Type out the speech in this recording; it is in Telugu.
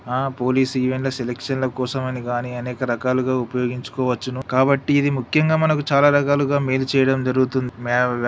ఆ పోలీస్ ఈవెంట్ లో సెలక్షన్ ల కోసం అని గాని అనేకరకాలుగా ఉపయోగించుకోవచ్చును కాబట్టి ఇది ముఖ్యంగా మనకు చాలా రకాలుగా మేలు చేయడం జరుగుతుంది. మే--